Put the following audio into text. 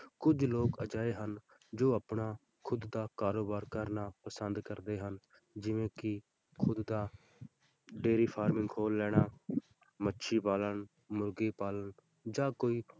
ਕੁੱਝ ਲੋਕ ਅਜਿਹੇ ਹਨ ਜੋ ਆਪਣਾ ਖੁੱਦ ਦਾ ਕਾਰੋਬਾਰ ਕਰਨਾ ਪਸੰਦ ਕਰਦੇ ਹਨ, ਜਿਵੇਂ ਕਿ ਖੁੱਦ ਦਾ dairy farm ਖੋਲ ਲੈਣਾ ਮੱਛੀ ਪਾਲਣ, ਮੁਰਗੀ ਪਾਲਣ ਜਾਂ ਕੋਈ